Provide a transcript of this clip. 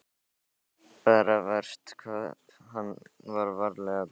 Bara verst hvað hann er ferlega góðlegur.